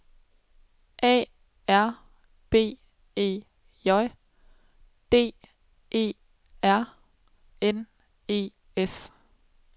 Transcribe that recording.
A R B E J D E R N E S